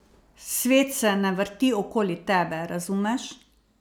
Svet se ne vrti okoli tebe, razumeš?